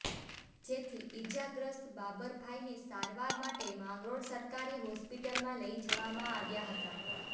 જેથી ઇજાગ્રસ્ત બાબરભાઈને સારવાર માટે માંગરોળ સરકારી હોસ્પીટલમાં લઈ જવામાં આવ્યા હતા